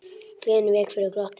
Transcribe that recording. Gleðin vék fyrir glotti.